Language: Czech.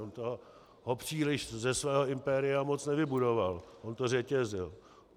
On toho příliš ze svého impéria moc nevybudoval, on to řetězil.